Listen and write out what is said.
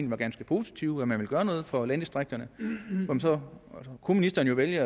var ganske positive nemlig at man ville gøre noget for landdistrikterne og så kunne ministeren jo vælge